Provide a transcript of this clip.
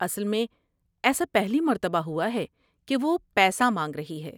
اصل میں، ایسا پہلی مرتبہ ہوا ہے کہ وہ پیسہ مانگ رہی ہے۔